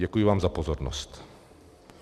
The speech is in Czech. Děkuji vám za pozornost.